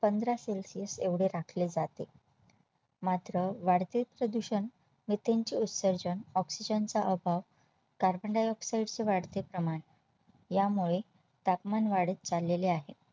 पंधरा celsius एवढे राखले जाते मात्र वाढते प्रदूषण Methane चे उत्सर्जन Oxygen चा अभाव Carbondioxide चे वाढते प्रमाण यामुळे तापमान वाढत चाललेले आहे